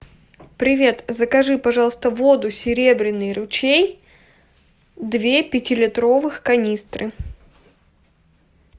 привет закажи пожалуйста воду серебряный ручей две пятилитровых канистры